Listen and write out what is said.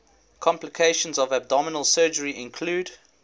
complications of abdominal surgery include